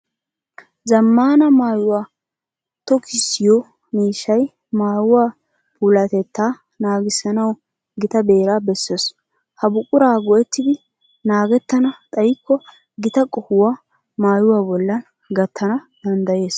Zammaana maayuwa tokkisiyo miishshay maayuwa puulatettaa nagissanawu gita beeraa bessees. Ha buquraa go"ettiiddi naagettana xayikko gita qohuwa maayuwa bollan gattana danddayees.